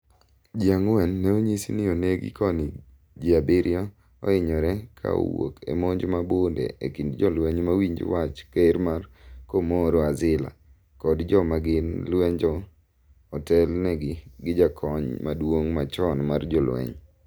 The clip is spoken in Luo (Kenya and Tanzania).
ji ang'wen ne onyis ni onegi koni ji abirio ohinyore ka owuok e monj ma bunde e kind jolweny ma winjo wach ker ma Comoro Azila kod Jo ma gin lujemo otel ni gi gi jakony maduong' machon mar jolweny